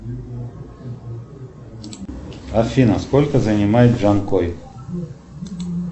афина сколько занимает джанкой